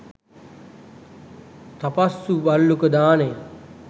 තපස්සු භල්ලුක දානය